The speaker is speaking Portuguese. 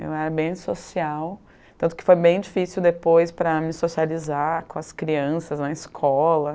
Eu era bem social, tanto que foi bem difícil depois para me socializar com as crianças na escola.